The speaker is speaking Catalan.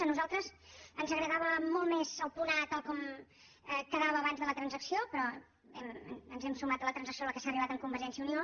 a nosaltres ens agradava molt més el punt a tal com quedava abans de la transacció però ens hem sumat a la transacció a la qual s’ha arribat amb convergència i unió